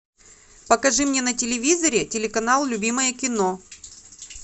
покажи мне на телевизоре телеканал любимое кино